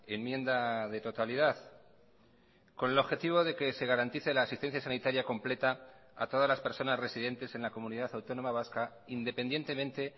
enmienda de totalidad con el objetivo de que se garantice la asistencia sanitaria completa a todas las personas residentes en la comunidad autónoma vasca independientemente